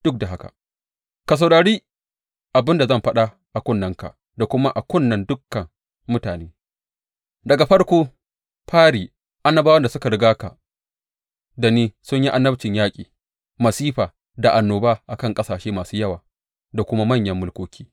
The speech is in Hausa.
Duk da haka, ka saurari abin da zan faɗa a kunnenka da kuma a kunnen duka mutane, Daga farko fari annabawan da suka riga ka da ni sun yi annabcin yaƙi, masifa da annoba a kan ƙasashe masu yawa da kuma manyan mulkoki.